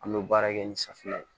An bɛ baara kɛ ni safinɛ ye